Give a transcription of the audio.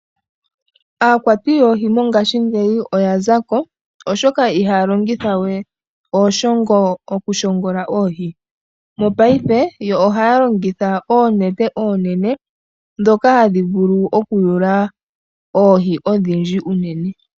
Aakwati yoohi mongashi ngeyi oya zako oshoka ihaya longitha we ooshongo okushongola oohi. Mopaife yo ohaya longitha oonete oonene ndhoka hadhi vulu okuyula oohi odhindji unene.